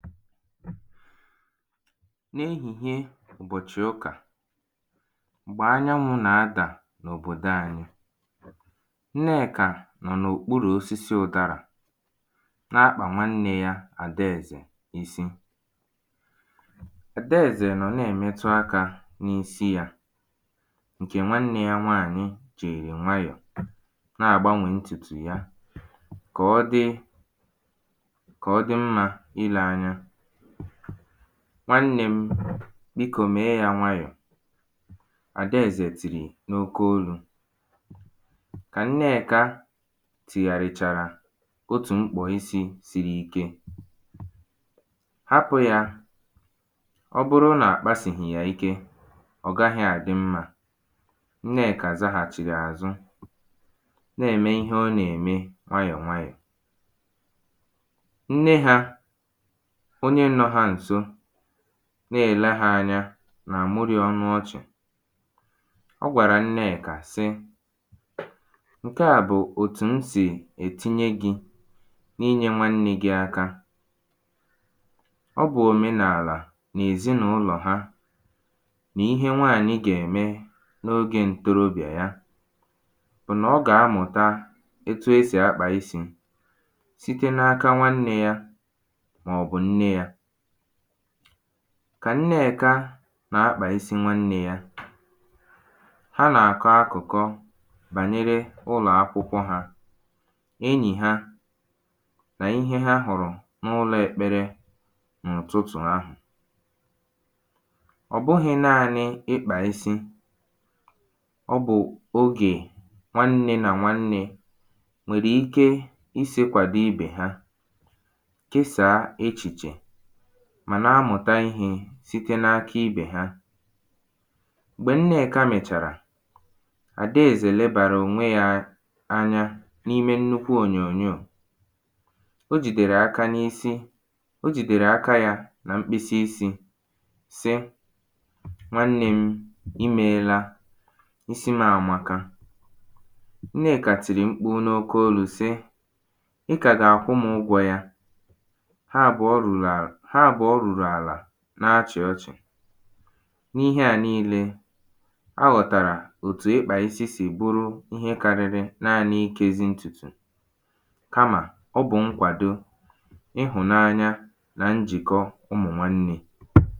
n’ehìhie ụ̀bọ̀chị̀ ụkà m̀gbè anyanwụ̄ nà-adà n’òbòdo anyị Nnekà nọ̀ n’òkpurù oosisi ụdarà na-akpà nwannē yā Àdaèzè isi Àdaèzè nọ̀ na-èmetụ akā n’isi yā ṅ̀kè nwannē yā nwaànyị jì nwayọ̀ a na-àgbanwè ntùtù ya kà ọ dị kà ọ dị mmā ilē anya ‘nwannē m̄ bikō mèe yā nwayọ̀’ Àdaèzè tìrì n’oke olū kà Nnekā tìghàrìchàrà otù mkpò isī siri ike ‘hapụ̄̄ yā ọ bụrụ nà à kpasìhì yà ike ọ̀ gahị̄ àdị mmā’ Nnekà zahàchìrì àzụ na-ème ihe ọ nà-ème nwayọ̀ nwayọ̀ nne hā onye nọ̄ hā ǹso na-èle hā anya nà-àmụrị ọnụ ọchị̀ ọ gwàrà Nnekà sị “ṅ̀ke à bụ̀ òtù m sì ètinye gị̄ n’inyē nwannē gị̄ aka” ọ bụ̀ òmenàlà n’èzi nà ụlọ ha nà ihe nwaànyị̀ gà-ème n’ogē ntorobịà ya bụ̀ nà ọ gà-amụ̀ta etu e sì akpà isī site n’aka nwannē yā màọ̀bụ̀ nne yā kà Nneèkā nà-akpà isi nwannē yā ha nà-àkọ akụ̀kọ bànyere ụlọ̀ akwụkwọ yā enyì ha nà ihe ha hụ̀rụ̀ n’ụlọ̄ ekpere n’ụ̀tụtụ̀ ahụ̀ ọ̀ bụhị̄ naānị̄ ịkpà isi ọ bụ̀ ogè nwannē nà nwannē nwèrè ike isī kwàdo ibè ha kesàa echìchè mà na amụ̀ta ihe site n’aka ibè ha m̀gbè Nnekà mèchàrà Àdaèzè lebàrà ònwe yā anya n’ime nnukwu ònyònyoò o jìdèrè aka n’isi o jìdèrè aka yā na mkpịsị isī sị “nwannē m ị meēlā isi m̄ àmaka” Nneka tìrì mkpu n’oke olū sị Ị kà gà-àkwụ m̄ ụgwọ̄ yā ha àbụ̀ọ rùrù à ha àbụ̀ọ rùrù àla na-achị̀ ọchị̀ n’ihe à niīlē ọ ghọ̀tàrà òtù ịkpà isi sì bụrụ ihe karịrị naānị̄ ikēzī ntùtù kamà ọ bụ̀ ṅkwàdo ịhụ̀nanya nà njìkọ ụmụ̀nwannē